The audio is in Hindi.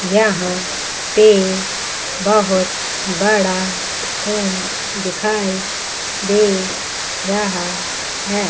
यहां पे बहुत बड़ा स्कूल दिखाई दे रहा है।